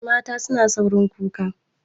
Mata suna saurin kuka.